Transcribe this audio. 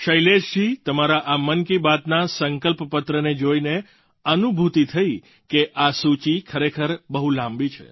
શૈલેશજી તમારા આ મન કી બાતના સંકલ્પપત્રને જોઈને અનુભૂતિ થઈ કે આ સૂચિ ખરેખર બહુ લાંબી છે